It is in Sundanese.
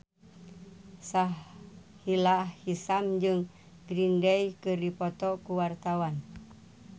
Sahila Hisyam jeung Green Day keur dipoto ku wartawan